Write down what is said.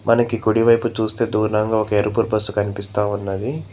మనకి కుడివైపు చూస్తే దూరంగా ఒక ఎరుపు బస్సు కనిపిస్తా ఉన్నది.